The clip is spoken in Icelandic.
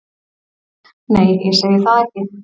Nei, ég segi það ekki.